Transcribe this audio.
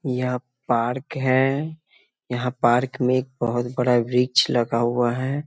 यह पार्क है यहाँ पार्क में एक बहुत बड़ा वृक्ष लगा हुआ है ।